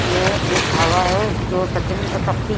यह एक ढाबा है जो सेकंड शक्ति--